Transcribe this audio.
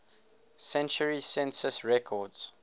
century census records